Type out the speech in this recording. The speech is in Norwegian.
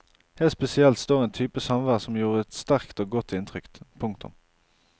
Helt spesielt står en type samvær som gjorde et sterkt og godt inntrykk. punktum